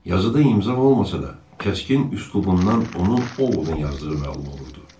Yazıda imza olmasa da, kəskin üslubundan onu Ovodun yazdığı məlum olurdu.